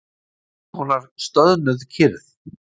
Einhverskonar stöðnuð kyrrð.